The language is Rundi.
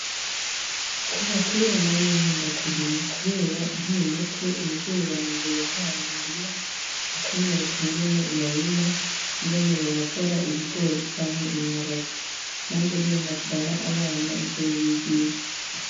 Kuva kera namye nkunda kurima, kubera nkiri muto umuvyeyi wanje yantwara m'umurima, akanyereka ingene barima, ingene babagara ibigori canke ibiharage, nanje niyo navyara abana nzobibigisha.